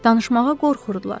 Danışmağa qorxurdular.